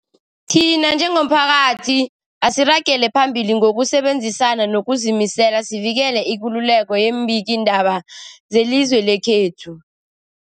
Thina njengomphakathi, asiragele phambili ngokusebenzisana ngokuzimisela sivikele ikululeko yeembikiindaba zelizwe lekhethu.